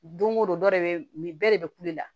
Don o don dɔ de bɛ nin bɛɛ de bɛ kulela